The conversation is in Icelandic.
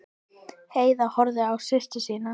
Heiða horfði á systur sína.